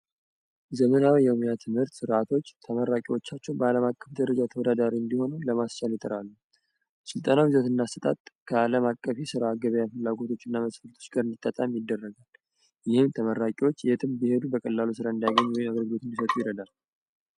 ዘመናዊ ትምህርት ርዓቶች ተመራቂዎቻቸው በአለም አቀፍ ደረጃ ተወዳዳሪ እንዲሆኑ ለማስቻል ና ከዓለም አቀፍ ገበያ ፍላጐቶች ጋር የሚደረጋል እኛ ተበራቂዎች የትም ብሄዱ በቀላሉ ስራ እንዳይገኙ